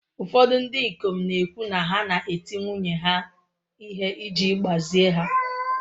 Ụfọdụ ndị ikom na-ekwu na ha na-eti nwunye ha ihe iji gbazie ha.